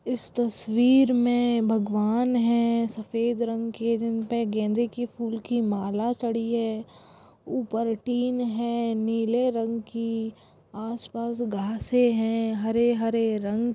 इस तस्वीर में भगवान हैं सफेद रंग के जिनपे गेंदे के फुल की माला चढ़ी है ऊपर टिन है नीले रंग की आस पास घासें हैं हरे हरे रंग --